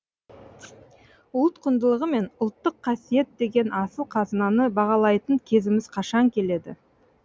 ұлт құндылығы мен ұлттық қасиет деген асыл қазынаны бағалайтын кезіміз қашан келеді